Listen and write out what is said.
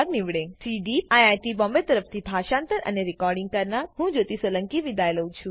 CDEEP IIT Bombay તરફથી ભાષાંતર કરનાર હું જ્યોતી સોલંકી વિદાય લઉં છું